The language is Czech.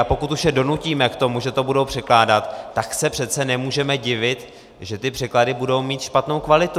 A pokud už je donutíme k tomu, že to budou překládat, tak se přece nemůžeme divit, že ty překlady budou mít špatnou kvalitu.